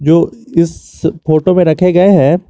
इस फोटो में रखे गए हैं।